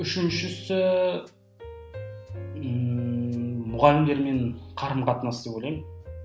үшіншісі ммм мұғалімдермен қарым қатынас деп ойлаймын